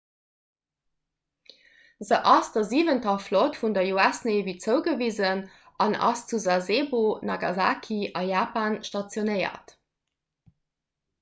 se ass der siwenter flott vun der us navy zougewisen an ass zu sasebo nagasaki a japan stationéiert